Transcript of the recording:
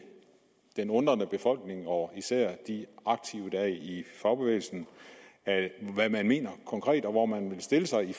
den undrende befolkning og især de aktive er i fagbevægelsen hvad man mener konkret og hvor man vil stille sig i